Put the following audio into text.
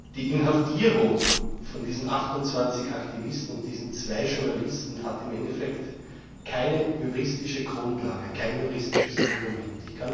Die Inhaftierung dieser 28 Aktivisten und dieser zwei Journalisten hat im Endeffekt keine juristische Grundlage, kein juristisches Fundament.